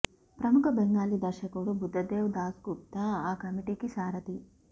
ప్రముఖ బెంగాలీ దర్శకుడు బుద్ధదేవ్ దాస్ గుప్తా ఆ కమిటీకి సారథి